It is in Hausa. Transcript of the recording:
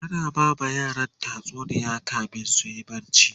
tana bama yaran tatsuniya kamin suyi barci